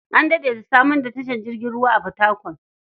An daɗe da samar da tashar jirgin ruwa a Fatakwal.